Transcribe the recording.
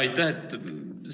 Aitäh!